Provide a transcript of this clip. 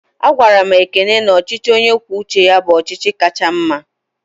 A gwaram Ekene na ọchịchị onye kwuo uche ya bụ ọchịchị kacha mma